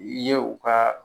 Ye u ka